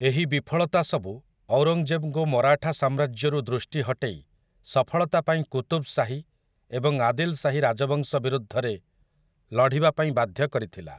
ଏହି ବିଫଳତା ସବୁ ଔରଙ୍ଗଜେବଙ୍କୁ ମରାଠା ସାମ୍ରାଜ୍ୟରୁ ଦୃଷ୍ଟି ହଟେଇ ସଫଳତା ପାଇଁ କୁତୁବ୍ ଶାହି ଏବଂ ଆଦିଲ୍ ଶାହି ରାଜବଂଶ ବିରୁଦ୍ଧରେ ଲଢ଼ିବା ପାଇଁ ବାଧ୍ୟ କରିଥିଲା ।